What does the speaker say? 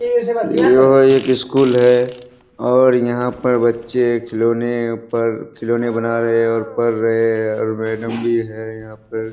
यह एक स्कूल है और यहाँ पर बच्चे खिलोने पर खिलोने बना रहें हैं और पढ़ रहें हैं और मैडम भी है यहाँ पर।